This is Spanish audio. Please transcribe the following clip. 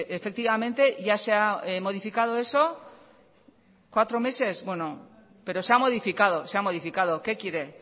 efectivamente ya se ha modificado eso cuatro meses bueno pero se ha modificado se ha modificado qué quiere